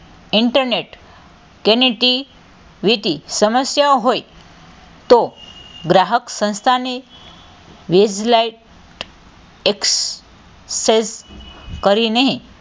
Internet connectivity સમસ્યાઓ હોય તો ગ્રાહક સંસ્થાને વીજ light excess કરીને,